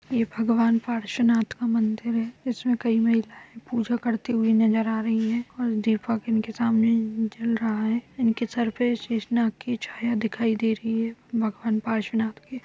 ये भगवान पार्शवनाथ का मंदिर है। इसमें कई महिलायें पूजा करती हुए नजर आ रही हैं और दीपक इनके सामने जल रहा है इनके सर पे शेष नाग की छाया दिखाई दे रही है भगवान पार्शवनाथ के।